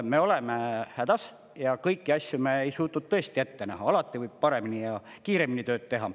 Me oleme hädas ja kõiki asju me ei suutnud ette näha, alati võib paremini ja kiiremini tööd teha.